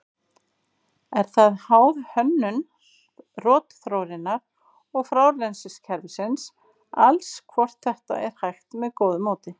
Er það háð hönnun rotþróarinnar og frárennsliskerfisins alls hvort þetta er hægt með góðu móti.